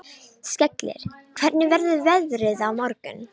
Skellir, hvernig verður veðrið á morgun?